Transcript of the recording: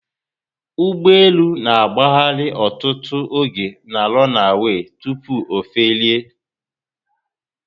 Ugbọelu na agbahari ọtụtụ oge na 'runaway' tupu ofelie